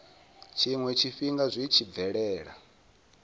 tshiwe tshifhinga zwi tshi bvelela